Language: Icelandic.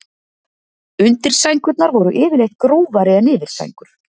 undirsængurnar voru yfirleitt grófari en yfirsængur